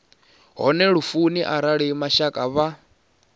hone lufuni arali mashaka vha